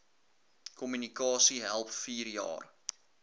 kommunikasie help vierjaar